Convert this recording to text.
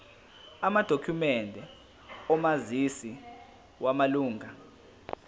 amadokhumende omazisi wamalunga